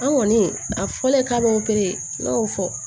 An kɔni a fɔlen k'a b'o ne y'o fɔ